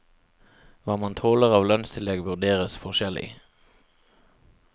Hva man tåler av lønnstillegg vurderes forskjellig.